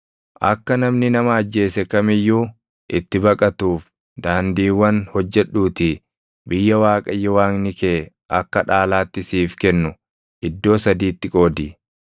Akka namni nama ajjeese kam iyyuu itti baqatuuf daandiiwwan hojjedhuutii biyya Waaqayyo Waaqni kee akka dhaalaatti siif kennu iddoo sadiitti qoodi.